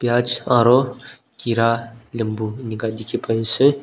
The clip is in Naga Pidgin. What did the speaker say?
aro kira limbu eneka dikhi pai ase.